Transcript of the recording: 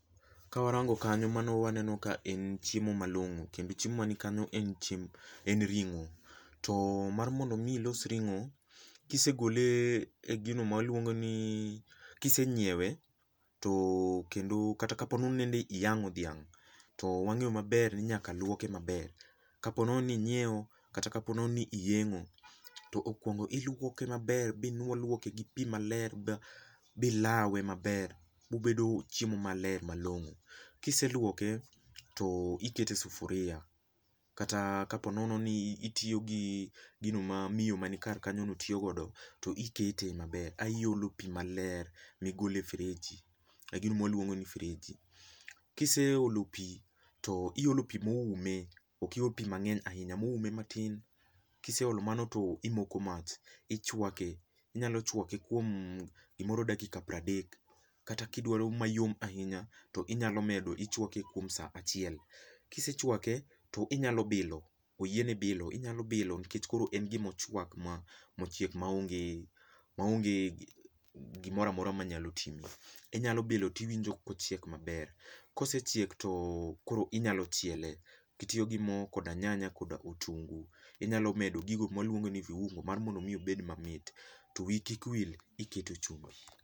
Ka warango kanyo mano waneno ka en chiemo malong'o, kendo chiemo man kanyo en chiemb en ring'o, to mar mondo mi ilos ring'o, kisegole e gino ma waluongo ni kisenyiewe, to kata ka po nono ni nende iyang'o dhiang', to wang'eyo maber ni nyaka luokoe maber, ka po nono ni inyieo kata ka po nono ni iyeng'o. To okuongo iluoke maber binuo luoke gi pi maler ba bi lawe maler, bo bedo chiemo maler malong'o. Kiseluoke to ikete e sufuria kata ka po nono ni itiyo gi gino ma miyo ma nikar kanyo no tiyo godo, to ikete maber, ai iolo pi maler migole freji, ka gima waluongo ni freji. Kiseolo pi to iolo pi ma oume, ok iol pi mang'eny ahinya moume matin, kiseolo mano to imoko mach, ichwake. Inyalo chwake kuom gimoro dakika pradek kata ka odwaro mayom ahinya, to inyalo medo ichwake kuom sa achiel. Kisechwake to inyalo bilo, oyieni bilo inyalo bilo nikech koro en gima ochwak ma mochiek ma onge ma onge gimora mora manyalo timi. Inyalo bilo tiwinjo kochiek maber. Kosechiek to koro inyalo chiele kitiyo go mo, koda nyanya, koda otungu. Inyalo medo gigo ma waluongo ni viungo mar mondo mi obed mamit. To wiyi kik wil, iketo chumbi.